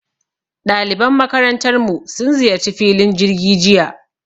Ɗaliban makarantarmu sun ziyarci filin jirgi jiya